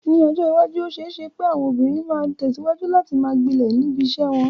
Ní ọjọ́ iwájú, ó ṣeé ṣe pé àwọn obìnrin máa tẹ̀síwájú láti máa gbilẹ̀ níbi iṣẹ́ wọn.